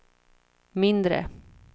mindre